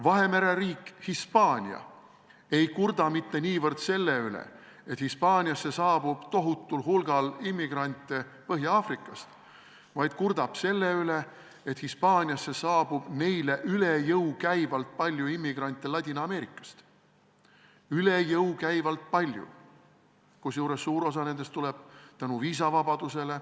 Vahemere riik Hispaania ei kurda mitte niivõrd selle üle, et Hispaaniasse saabub tohutul hulgal immigrante Põhja-Aafrikast, vaid kurdab selle üle, et Hispaaniasse saabub neile üle jõu käivalt palju immigrante Ladina-Ameerikast, kusjuures suur osa nendest tuleb tänu viisavabadusele.